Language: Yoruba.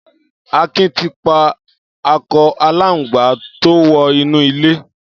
Akin ti pà àkọ àlángbá tó wọ inú ilé